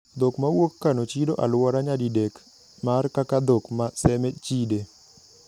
Dhok mawuok Kano chido aluora nyadidek mar kaka dhok ma Seme chide.